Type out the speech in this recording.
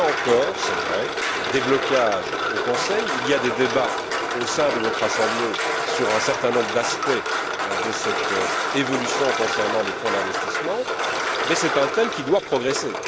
Il y a encore, c'est vrai, des blocages au Conseil, il y a des débats au sein de votre assemblée sur un certain nombre d'aspects de cette évolution concernant les fonds d'investissement mais c'est un thème qui doit progresser.